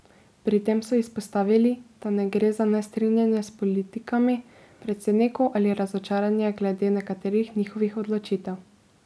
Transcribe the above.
Pri tem so izpostavili, da ne gre za nestrinjanje s politikami predsednikov ali razočaranje glede nekaterih njihovih odločitev.